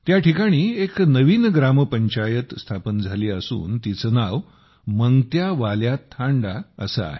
त्या ठिकाणी एक नवीन ग्रामपंचायत स्थापन झाली असून तिचे नाव मंगत्यावाल्या थांडा असे आहे